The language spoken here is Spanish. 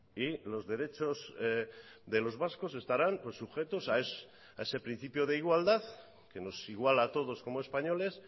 y los derechos de los vascos estarán sujetos a ese principio de igualdad que nos iguala a todos como españoles